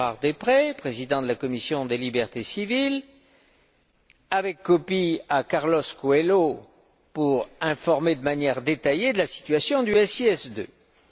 Gérard Deprez, président de la commission des libertés civiles, avec copie à Carlos Coelho, pour l'informer de manière détaillée de la situation du SIS II.